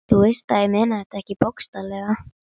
Þú veist að ég meina þetta ekki bókstaflega.